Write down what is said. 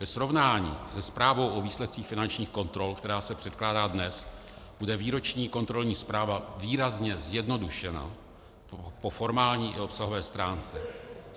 Ve srovnání se zprávou o výsledcích finančních kontrol, která se předkládá dnes, bude výroční kontrolní zpráva výrazně zjednodušena po formální i obsahové stránce.